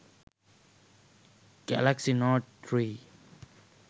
galaxy note 3